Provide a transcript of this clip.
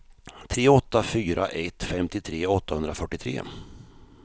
tre åtta fyra ett femtiotre åttahundrafyrtiotre